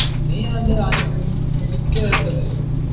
നീ ഏതാണ്ട് അദ്യം, medical ഏതാണ്ട് അല്ലായിരുന്നോ?